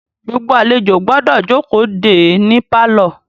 Gbogbo àlejò gbọ́dọ̀ jókòó de é ní pálọ̀.